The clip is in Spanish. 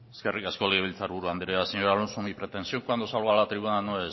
eskerrik asko legebiltzar buru andrea señor alonso mi pretensión cuando salgo a la tribuna no